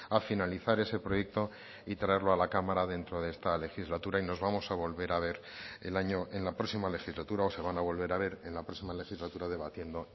a finalizar ese proyecto y traerlo a la cámara dentro de esta legislatura y nos vamos a volver a ver el año en la próxima legislatura o se van a volver a ver en la próxima legislatura debatiendo